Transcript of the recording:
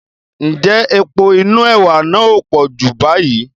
Ǹjẹ́ epo inú ẹwà náà ò pọ̀ Júù báyìí?